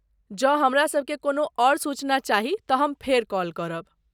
जँ हमरासभकेँ कोनो आओर सूचना चाही तऽ हम फेर कॉल करब।